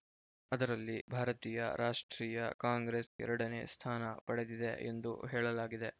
ಅದರಲ್ಲಿ ಭಾರತೀಯ ರಾಷ್ಟ್ರೀಯ ಕಾಂಗ್ರೆಸ್‌ ಎರಡನೇ ಸ್ಥಾನ ಪಡೆದಿದೆ ಎಂದು ಹೇಳಲಾಗಿದೆ